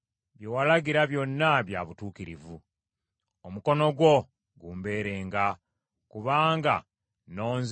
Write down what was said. Omukono gwo gumbeerenga, kubanga nnonzeewo okukwatanga ebiragiro byo.